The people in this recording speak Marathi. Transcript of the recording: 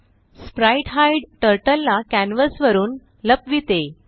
स्प्राइटहाईड टर्टल ला कॅन्वस वरुन लपविते